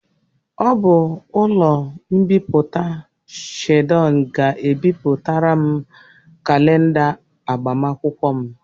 Ọ bụ ụlọ mbipụta Chidon ga-ebịpụtara m kalenda agbamakwụkwọ m.